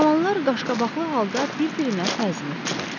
Cavanlar qaşqabaqlı halda bir-birinə təzim etdilər.